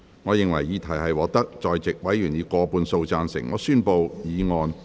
我認為議題獲得在席委員以過半數贊成。